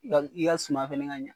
I ka sum fana ka ɲɛ.